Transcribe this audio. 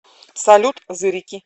салют зырики